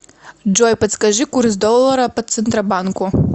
джой подскажи курс доллара по центробанку